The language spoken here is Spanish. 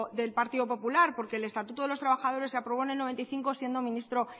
del partido popular porque el estatuto de los trabajadores se aprobó en el noventa y cinco siendo ministro